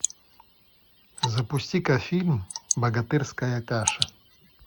запусти ка фильм богатырская каша